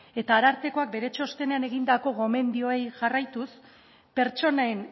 eta arartekoak bere txostenean egindako gomendioei jarraituz pertsonen